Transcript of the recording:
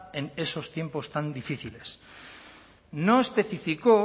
en esos tiempos tan difíciles no especificó